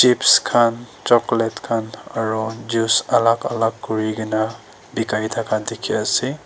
chips khan chocolate khan aro juice alak alak kuri kena bikai thaka dikhi ase.